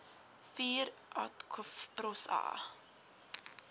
vuur atkv prosa